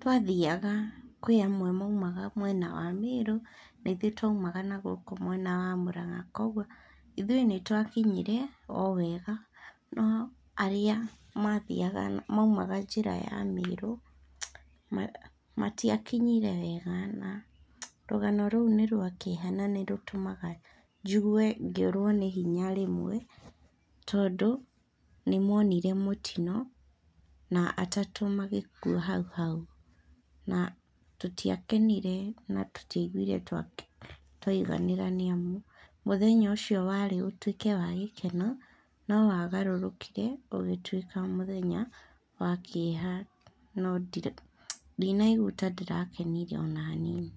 twathiaga kwĩ amwe maumaga mwena wa Mĩĩrũ, na ithuĩ twaumaga na gũkũ mwena wa Mũrang'a kuoguo, ithuĩ nĩtwakinyire o wega, o arĩa mathiaga maumaga njĩra ya Mĩĩrũ, matiakinyire wega na, rũgano rũu nĩ rwa kĩeha na nĩrũtũmaga njigue ngĩũrwo nĩ hinya rĩmwe, tondũ nĩmonire mũtino na atatũ magĩkua hau hau, na tũtiakenire na tũtiaiguire twaiganĩra nĩamu, mũthenya ũcio warĩ ũtuĩke wa gĩkeno, no wagarũrũkire ũgĩtuĩka mũthenya wa kĩeha no ndinaigua ta ndĩrakenire ona hanini.